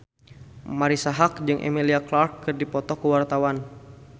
Marisa Haque jeung Emilia Clarke keur dipoto ku wartawan